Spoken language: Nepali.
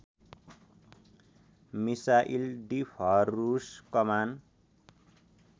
मिसाइल डिफहरुस कमान